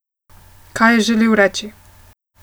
Kaj je želel reči.